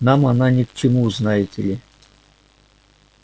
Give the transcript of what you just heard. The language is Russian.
нам она ни к чему знаете ли